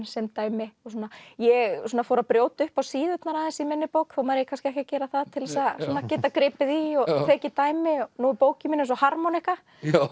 sem dæmi og svona ég fór að brjóta upp á síðurnar aðeins í minni bók þó maður eigi kannski ekki að gera það til þess að geta gripið í og tekið dæmi og nú er bókin mín eins og harmonikka